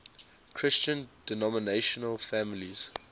christian denominational families